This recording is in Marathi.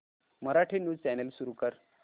मराठी न्यूज चॅनल सुरू कर